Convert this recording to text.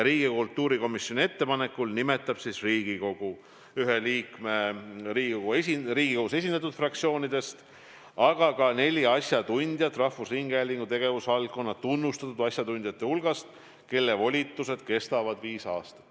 Riigikogu kultuurikomisjoni ettepanekul nimetab Riigikogu nõukogusse ühe liikme igast Riigikogus esindatud fraktsioonist, aga ka neli asjatundjat rahvusringhäälingu tegevusvaldkonna tunnustatud asjatundjate hulgast, kelle volitused kestavad viis aastat.